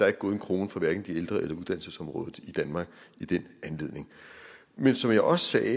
er gået en krone fra hverken de ældre eller fra uddannelsesområdet i danmark i den anledning men som jeg også sagde